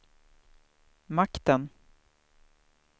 makten